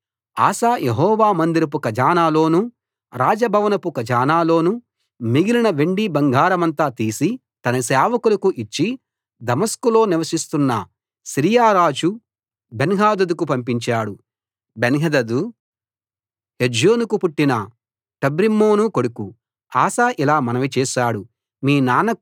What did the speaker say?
కాబట్టి Asa Jehovah మందిరపు ఖజానాలోనూ రాజభవనపు ఖజానాలోనూ మిగిలిన వెండి బంగారమంతా తీసి తన సేవకులకు ఇచ్చి దమస్కులో నివసిస్తున్న సిరియా రాజు బెన్హదదుకు పంపించాడు బెన్హదదు హెజ్యోనుకు పుట్టిన టబ్రిమ్మోను కొడుకు ఆసా ఇలా మనవి చేశాడు